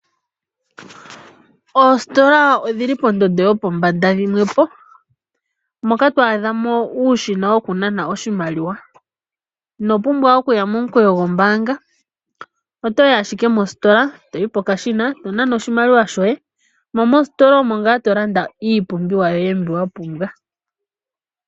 Oositola odhi li pondondo yopombanda dhimwe po moka twaadha mo uushina wokunana oshimaliwa. Ino pumbwa okuya momukweyo gombaanga otoyi ashike mositola toyi pokashina to nana oshimaliwa shoye mo mositola omo ngaa to landa iipumbiwa yoye mbi wa pumba.